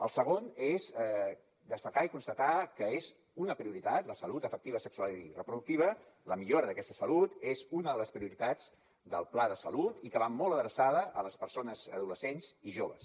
la segona és destacar i constatar que és una prioritat la salut afectiva sexual i reproductiva la millora d’aquesta salut és una de les prioritats del pla de salut i que va molt adreçada a les persones adolescents i joves